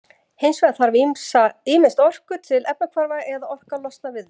Hins vegar þarf ýmist orku til efnahvarfa eða orka losnar við þau.